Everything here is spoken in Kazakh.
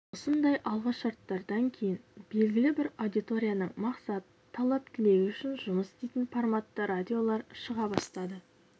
осындай алғы шарттардан кейін белгілі бір аудиторияның мақсаты талап-тілегі үшін жұмыс істейтін форматты радиолар шыға бастады